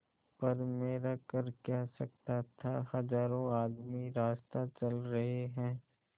पर मेरा कर क्या सकता था हजारों आदमी रास्ता चल रहे हैं